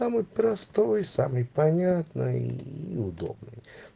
самый простой самый понятный и удобный